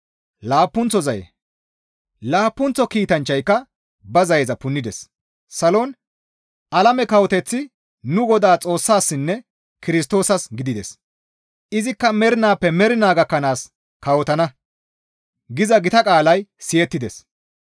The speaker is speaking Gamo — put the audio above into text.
Laappunththo kiitanchchayka ba zayeza punnides; Salon, «Alame kawoteththi nu Godaa Xoossaassinne Kirstoosas gidides; izikka mernaappe mernaa gakkanaas kawotana» giza gita qaalay siyettides.